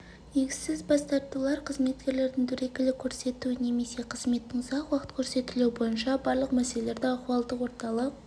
негізсіз бас тартулар қызметкерлердің дөрекілік көрсетуі немесе қызметтің ұзақ уақыт көрсетілуі бойынша барлық мәселелерді ахуалдық орталық